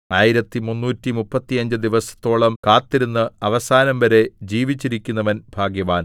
ആയിരത്തി മുന്നൂറ്റിമുപ്പത്തിയഞ്ച് ദിവസത്തോളം കാത്തിരുന്ന് അവസാനംവരെ ജീവിച്ചിരിക്കുന്നവൻ ഭാഗ്യവാൻ